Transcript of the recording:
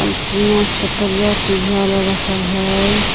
Antenna छतरिया टिविया वला रखल हइ।